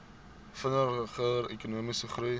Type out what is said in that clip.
vinniger ekonomiese groei